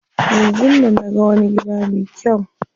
Yanzun nan naga wani gida me kyau.